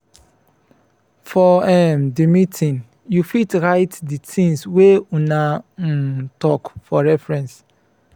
for um di meeting you fit write di things wey una um talk for reference